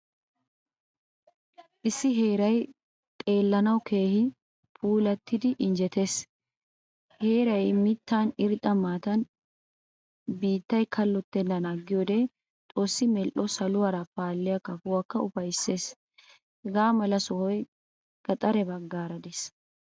Issi heeray xeelanawu keehin puualattidi injjetees. Heeray miittan irxxa maatan biittay kalotenan agiyode Xoossi medhdho saluwaara paaliyaa kafoykka ufayttees. Hagaamala sohoy gaxare baggaara de'ees.